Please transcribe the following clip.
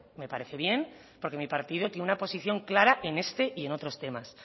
me parece bien porque mi partido tiene una posición clara en este y en otros temas